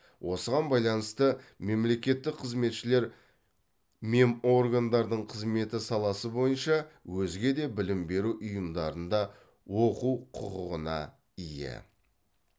осыған байланысты мемлекеттік қызметшілер меморгандардың қызметі саласы бойынша өзге де білім беру ұйымдарында оқу құқығына ие